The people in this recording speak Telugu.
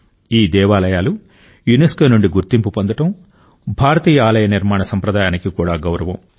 ఈ దేవాలయాలు యునెస్కో నుండి గుర్తింపు పొందడం భారతీయ ఆలయ నిర్మాణ సంప్రదాయానికి కూడా గౌరవం